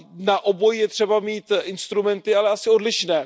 Na obojí je třeba mít instrumenty, ale asi odlišné.